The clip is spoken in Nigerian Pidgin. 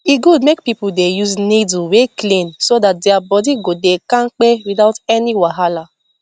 e good make people dey use needle wey clean so that their body go dey kampe without any wahala